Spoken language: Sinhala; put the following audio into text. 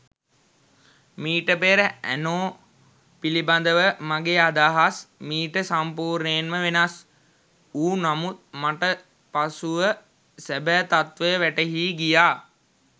මීට පෙර ඇනෝ පිළිබදව මගේ අදහස් මීට සම්පූර්ණයෙන්ම වෙනස් වූ නමුත් මට පසුව සැබෑ තත්වය වැටහී ගියා.